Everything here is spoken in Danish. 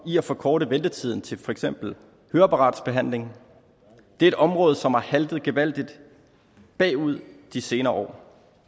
i at forkorte ventetiden til for eksempel høreapparatsbehandling det er et område som har haltet gevaldigt bagud de senere år